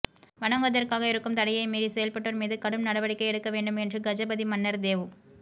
வணங்குவதற்காக இருக்கும் தடையை மீறி செயல்பட்டோர் மீது கடும் நடவடிக்கை எடுக்க வேண்டும் என்று கஜபதி மன்னர் தேவ்